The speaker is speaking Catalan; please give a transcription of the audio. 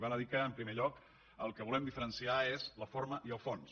val a dir que en primer lloc el que volem diferenciar és la forma i el fons